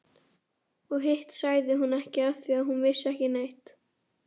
Mamma hefur verið mikið að heiman síðustu kvöld.